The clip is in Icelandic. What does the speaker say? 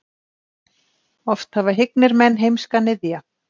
Oft hafa hyggnir menn heimska niðja.